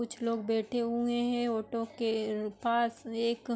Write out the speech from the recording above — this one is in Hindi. कुछ लोग बैठे हुए हैं। ऑटो के पास एक --